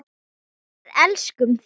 Við elskum þig!